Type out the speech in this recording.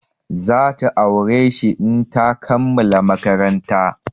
Za ta aure shi in ta kammala maƙaranta.